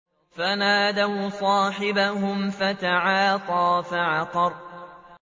فَنَادَوْا صَاحِبَهُمْ فَتَعَاطَىٰ فَعَقَرَ